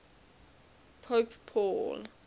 pope paul